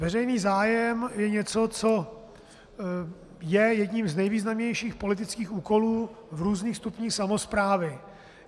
Veřejný zájem je něco, co je jedním z nejvýznamnějších politických úkolů v různých stupních samosprávy.